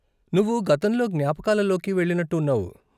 నువ్వు గతంలో జ్ఞాపకాలలోకి వెళ్ళినట్టు ఉన్నావు.